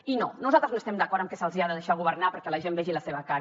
i no nosaltres no estem d’acord amb que se’ls ha de deixar governar perquè la gent vegi la seva cara